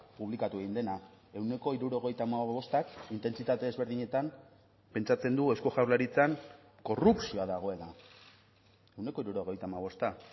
publikatu egin dena ehuneko hirurogeita hamabostak intentsitate ezberdinetan pentsatzen du eusko jaurlaritzan korrupzioa dagoela ehuneko hirurogeita hamabosta